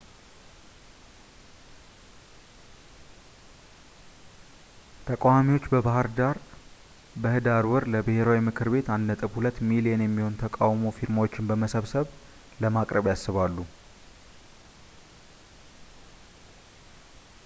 ተቃዋሚዎች በሕዳር ወር ለብሔራዊ ምክር ቤት 1.2 ሚሊዮን የሚሆን የተቃውሞ ፊርማዎችን በመሰብሰብ ለማቅረብ ያስባሉ